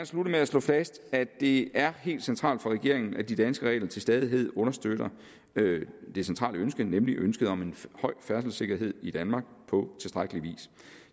slutte med at slå fast at det er helt centralt for regeringen at de danske regler til stadighed understøtter det centrale ønske nemlig ønsket om en høj færdselssikkerhed i danmark på tilstrækkelig vis